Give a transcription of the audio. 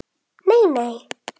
Nei, nei.